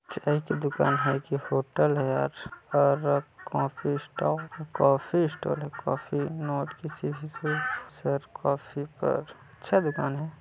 चाय की दुकान है कि होटल है यार और कॉफी स्टॉल कॉफी स्टॉल है कॉफी सर कॉफी अच्छा दुकान हैं।